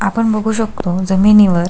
आपण बगु शकतो जमीनीवर--